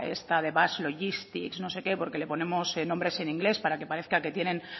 esta de basque logistics no sé qué porque le ponemos nombres en inglés para que parezca que tienen